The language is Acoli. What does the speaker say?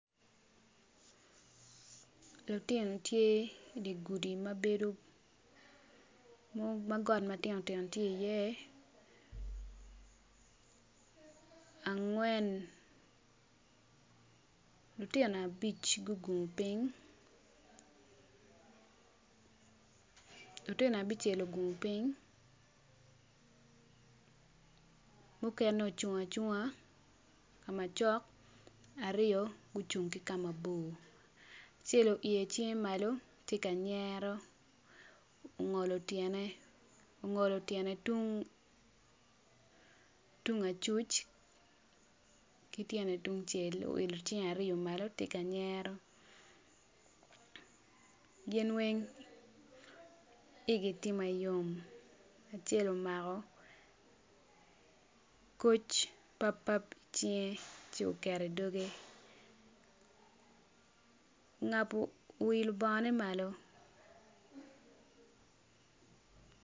Lutino tye i gudi ma got ma tino tino tye iye angwen abic tye gugungu lutino abice gugungu piny mukene gucung acunga ka macok mukene gucung ki ka mabor acel oilo cinge malo tye ka nyero ongolo tyene tung acuc ki tyene tung cel oilo cinge malo tye ka nyero gin weng igi tye ma yom acel omako koc papap i cinge ongabo bongone malo.